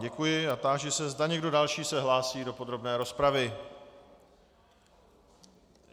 Děkuji a táži se, zda někdo další se hlásí do podrobné rozpravy.